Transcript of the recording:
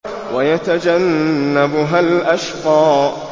وَيَتَجَنَّبُهَا الْأَشْقَى